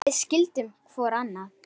Við skildum hvor annan.